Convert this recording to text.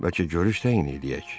Bəlkə görüş təyin eləyək.